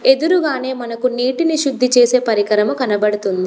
ఎదురుగానే మనకు నీటిని శుద్ధి చేసే పరికరము కనబడుతుంది.